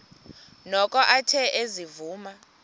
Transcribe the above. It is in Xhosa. noko athe ezivuma